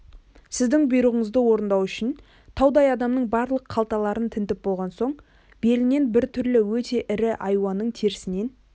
сіздің бұйрығыңызды орындау үшін таудай адамның барлық қалталарын тінтіп болған соң оның белінен біртүрлі өте ірі айуанның терісінен